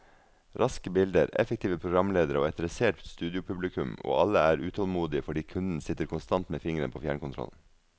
Raske bilder, effektive programledere og et dressert studiopublikum, og alle er utålmodige fordi kunden sitter konstant med fingeren på fjernkontrollen.